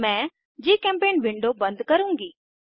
मैं जीचेम्पेंट विंडो बंद करुँगी